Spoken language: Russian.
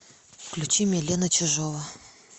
включи милена чижова